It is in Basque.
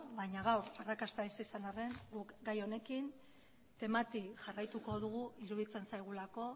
baina gaur arrakasta ez izan arren gu gai honekin temati jarraituko dugu iruditzen zaigulako